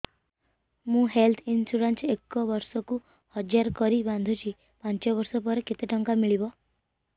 ମୁ health insurance ଏକ ବର୍ଷକୁ ହଜାର କରି ବାନ୍ଧୁଛି ପାଞ୍ଚ ବର୍ଷ ପରେ କେତେ ଟଙ୍କା ମିଳିବ